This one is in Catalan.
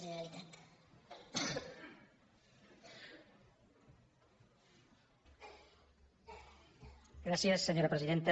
gràcies senyora presidenta